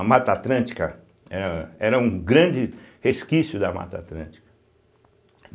A Mata Atlântica é era um grande resquício da Mata Atlântica.